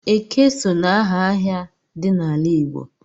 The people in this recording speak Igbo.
Eke so n'aha ahịa dị n'ala Igbo.